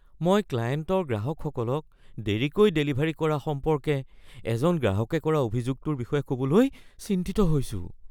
মই ক্লায়েণ্টৰ গ্ৰাহকসকলক দেৰিকৈ ডেলিভাৰী কৰা সম্পৰ্কে এজন গ্ৰাহকে কৰা অভিযোগটোৰ বিষয়ে ক'বলৈ চিন্তিত হৈছোঁ।